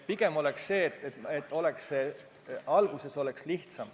Võiks olla nii, et alguses oleks ettevõtjal lihtsam.